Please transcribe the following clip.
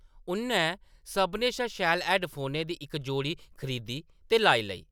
उʼन्नै सभनें शा शैल हैड्डफोनें दी इक जोड़ी खरीदी ते लाई लेई ।